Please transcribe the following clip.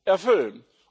erfüllen.